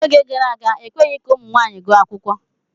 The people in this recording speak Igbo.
N'oge gara aga, ekweghị ka ụmụ nwaanyị gụọ akwụkwọ.